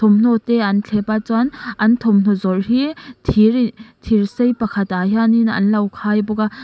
hnaw te an thlep a chuan an thawmhnaw zawrh hi thir thirsei pakhat ah hian in anlo khai bawk a--